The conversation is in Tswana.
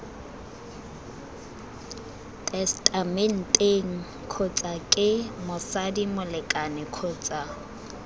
tesetamenteng kgotsake motsadi molekane kgotsa